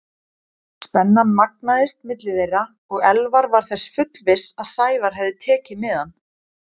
Spennan magnaðist milli þeirra og Elvar var þess fullviss að Sævar hefði tekið miðann.